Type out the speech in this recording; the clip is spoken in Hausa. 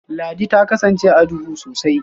Ladi ta kasance duhu sosai